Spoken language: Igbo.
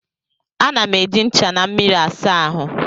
Ana m eji ncha na mmiri asa ahụ